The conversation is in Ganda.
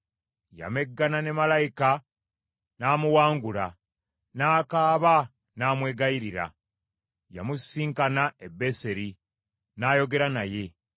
Yameggana ne malayika n’amuwangula, n’akaaba n’amwegayirira. Yamusisinkana e Beseri, n’ayogera naye.